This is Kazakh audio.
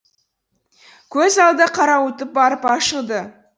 көз алды қарауытып барып ашылды